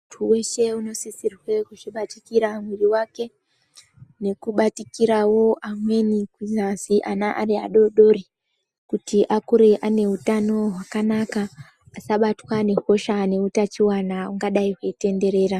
Twooishe unosisire kuzvibatikire mwiri wake nekubatikirawo amweni kunyazi ana ari adodori kuti akure ane utano hwakanaka asabatwa ngehosha neutachiwana hungadai hweitenderera.